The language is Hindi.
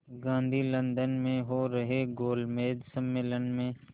गांधी लंदन में हो रहे गोलमेज़ सम्मेलन में